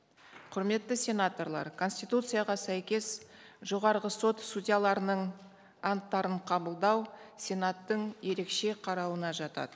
құрметті сенаторлар конституцияға сәйкес жоғарғы сот судьяларының анттарын қабылдау сенаттың ерекше қарауына жатады